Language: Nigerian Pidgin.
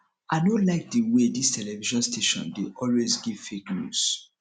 i no like the way dis television station dey always give fake news